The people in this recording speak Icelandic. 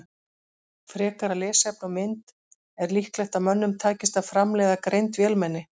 Frekara lesefni og mynd Er líklegt að mönnum takist að framleiða greind vélmenni?